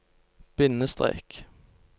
bindestrek